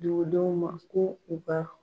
Dugudenw ma ko u ka